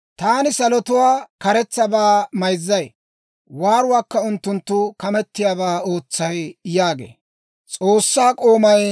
Taani salotuwaa karetsabaa mayzzay; waaruwaakka unttunttu kamettiyaabaa ootsay» yaagee.